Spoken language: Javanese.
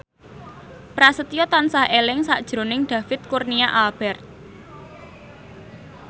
Prasetyo tansah eling sakjroning David Kurnia Albert